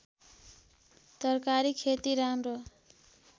तरकारी खेती राम्रो